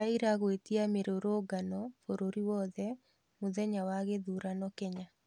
Raila gũĩtia mĩrũrũngano bũrũri wothe mũthenya wa gĩthurano Kenya.